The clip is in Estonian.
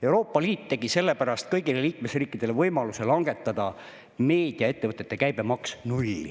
Euroopa Liit andis sellepärast kõigile liikmesriikidele võimaluse langetada meediaettevõtete käibemaks nulli.